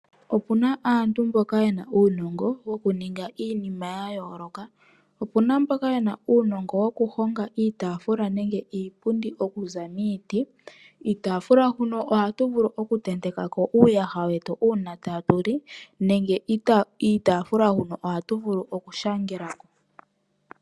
Opuna aantu mboka yena uunongo woku ninga iinima ya yooloka. Opuna mboka yena uunongo woku honga iitafula nenge iipundi okuza miiti. Kiitafula huno ohatu vulu oku tentekako uuyaha wetu una tatu li, nenge iitafula huno ohatu vuku oku shangelako